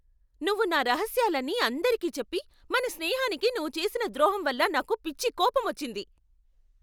నువ్వు నా రహస్యాలని అందరికీ చెప్పి మన స్నేహానికి నువ్వు చేసిన ద్రోహం వల్ల నాకు పిచ్చి కోపం వచ్చింది.